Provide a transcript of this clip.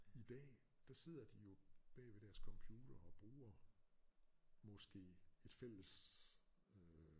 I dag der sidder de jo bag ved deres computere og bruger måske et fælles øh